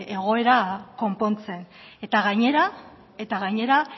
egoera konpontzen gainera